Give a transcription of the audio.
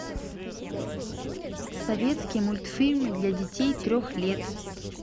советские мультфильмы для детей трех лет